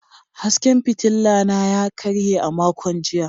Hasken fitila na ya karye a makon jiya.